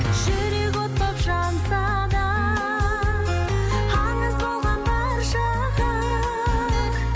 жүрек от боп жанса да аңыз болған баршаға